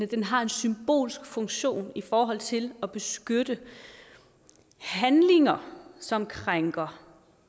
den har en symbolsk funktion i forhold til at beskytte handlinger som krænker